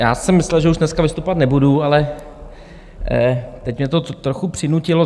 Já jsem myslel, že už dneska vystupovat nebudu, ale teď mě to trochu přinutilo.